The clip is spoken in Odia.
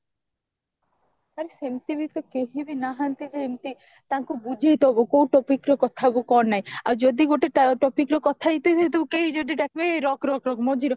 ଆରେ ସେମତି ବି ତ କେହିବି ନାହାନ୍ତି ଯେ ଏମତି ତାଙ୍କୁ ବୁଝେଇଡବୁ କୋଉ topicରେ କଥା ହବୁ କଣ ନାହିଁ ଆଉ ଯଦି ଗୋଟେ topic ର କଥା ହେଇଥିବୁ କେହି ଯଦି ଡାକିବେ ଏଇ ରଖ ରଖ ରଖ ମଝିରେ